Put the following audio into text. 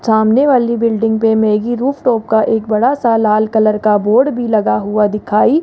सामने वाली बिल्डिंग पे मैगी रूफटॉप का एक बड़ा सा लाल कलर का बोर्ड भी लगा हुआ दिखाई--